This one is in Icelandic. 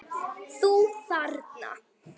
Þú þarna.